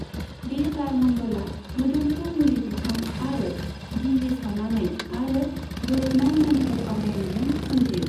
बे बार मण्डला मोदोमफ्रु मुलि बिफां आरो गिहि सावनानै आरो गोरोबनाय मोन्थोर आवरायनायजों सोमजियो।